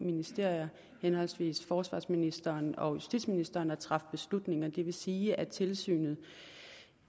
ministre henholdsvis forsvarsministeren og justitsministeren at træffe beslutninger det vil sige at tilsynet